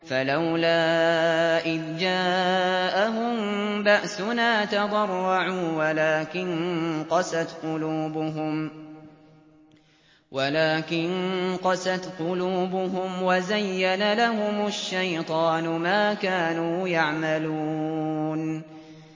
فَلَوْلَا إِذْ جَاءَهُم بَأْسُنَا تَضَرَّعُوا وَلَٰكِن قَسَتْ قُلُوبُهُمْ وَزَيَّنَ لَهُمُ الشَّيْطَانُ مَا كَانُوا يَعْمَلُونَ